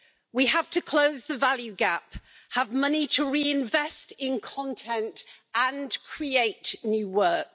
We have to close the value gap, have money to reinvest in content and create new work.